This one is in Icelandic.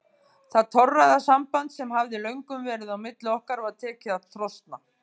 Það torræða samband sem hafði löngum verið á milli okkar var tekið að trosna.